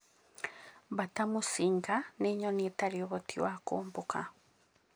Mbata mũcinga nĩ nyoni ĩtarĩ ũhoti wa kũmbũka.